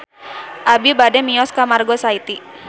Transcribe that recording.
Abi bade mios ka Margo City